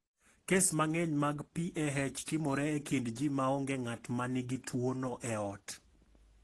Kes mang’eny mag PAH timore e kind ji ma onge ng’at ma nigi tuwono e ot.